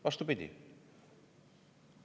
Vastupidi!